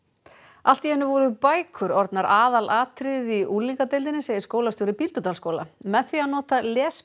allt í einu voru bækur orðnar aðalatriðið í unglingadeildinni segir skólastjóri Bíldudalsskóla með því að nota